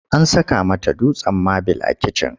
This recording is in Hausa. An saka mata dutsen mabil a kitchen.